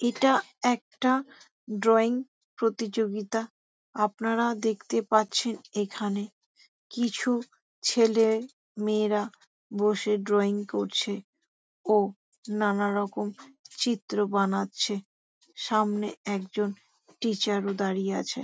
এটা একটা ড্রয়িং প্রতিযোগিতা। আপানারা দেখতে পাচ্ছেন এখানে কিছু ছেলে মেয়েরা বসে ড্রয়িং করছে। ও নানারকম চিত্র বানাচ্ছে সামনে একজন টিচার ও দাঁড়িয়ে আছে।